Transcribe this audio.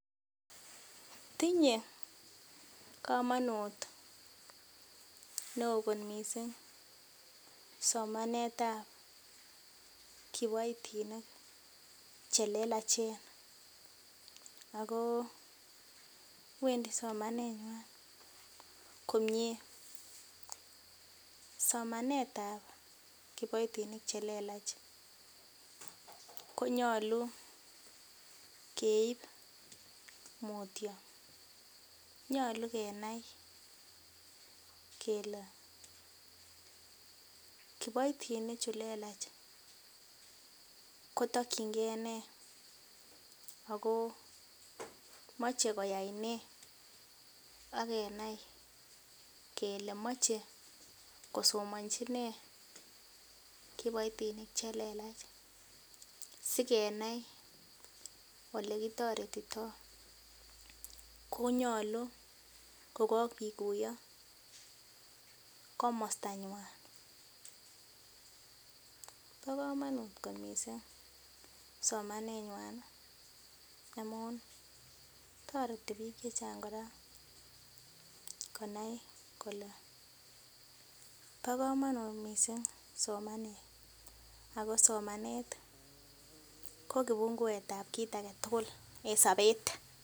Tinyei komonut neo kot mising somanet ap kiboitinik che lelachen ako wendi somanetngwan komie somanet ap kiboitinik che lelach konyolu keip mutio nyolu kenai kele kiboitinik chu lelach kotokchinkei ne ako mochei koyai nee akenai kele mochei kosomonchi nee kiboitinik chelelach sikenai olekitoretitoi konyolu kokakikuyo komosta ny'wan bo komonut kot mising somaneng'wany amun toreti biik che chang kora konai kole bo komonut mising somanet ako somanet ko kipunguet ap kit age tugul eng sobet.